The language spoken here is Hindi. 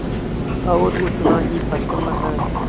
और उतना ही प्रसन्न है